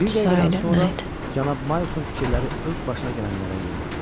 Bir dəqiqədən sonra cənab Maın fikirləri öz başına gələnlərə yönəldi.